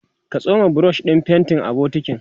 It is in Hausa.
ka tsoma brush ɗin faintin a bokintin